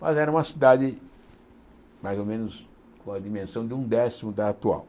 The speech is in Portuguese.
Mas era uma cidade mais ou menos com a dimensão de um décimo da atual.